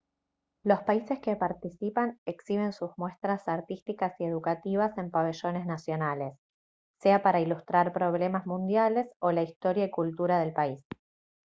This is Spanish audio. los países que participan exhiben sus muestras artísticas y educativas en pabellones nacionales sea para ilustrar problemas mundiales o la historia y cultura del país